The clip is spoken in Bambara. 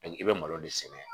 i bɛ malo de sɛnɛ